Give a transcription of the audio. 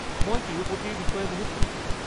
মই তিৰুপতিৰ বিষয়ে বহুত শুনিছো।